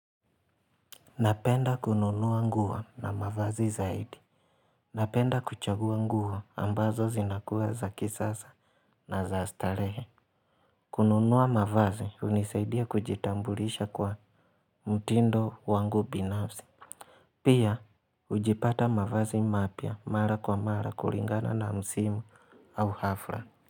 Napenda kununua nguo na mavazi zaidi. Napenda kuchagua nguo ambazo zinakuwa za kisasa na za starehe. Kununua mavazi hunisaidia kujitambulisha kwa mtindo wangu binafsi. Pia hujipata mavazi mapya mara kwa mara kulingana na msimu au hafla.